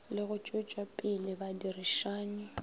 le go tšwetšapele badirišani go